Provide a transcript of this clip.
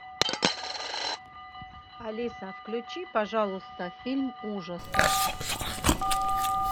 алиса включи пожалуйста фильм ужасов